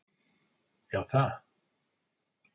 Já, það.